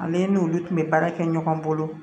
Ani ne n'olu tun bɛ baara kɛ ɲɔgɔn bolo